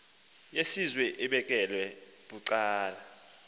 yesizwe ebekelwe bucala